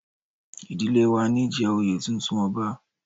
Ìdílé wa níí jẹ oyè Ọ̀tún ọba